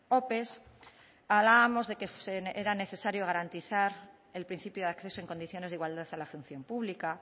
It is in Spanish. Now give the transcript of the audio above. ope hablábamos de que era necesario garantizar el principio de acceso en condiciones de igualdad a la función pública